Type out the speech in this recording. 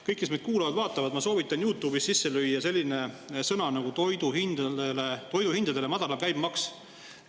Kõik, kes meid kuulavad ja vaatavad, ma soovitan teil YouTube'is sisse lüüa selline nagu "toiduhindadele madalam käibemaks".